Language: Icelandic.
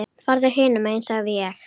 Farðu hinum megin sagði ég.